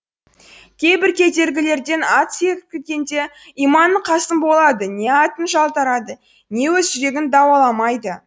кейбір кедергілерден ат секірткенде иманың қасым болады не атың жалтарады не өз жүрегін дауаламайды